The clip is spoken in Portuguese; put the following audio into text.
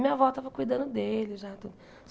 Minha avó estava cuidando dele já.